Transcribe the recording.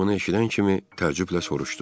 Qız bunu eşidən kimi təəccüblə soruşdu.